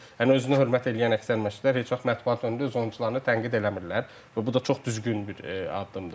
Yəni özünə hörmət eləyən əksər məşqçilər heç vaxt mətbuat önündə öz oyunçularını tənqid eləmirlər və bu da çox düzgün bir addımdır.